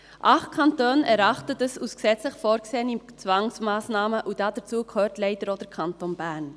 Acht Kantone erachten dies als gesetzlich vorgesehene Zwangsmassnahme, und zu diesen gehört leider auch der Kanton Bern.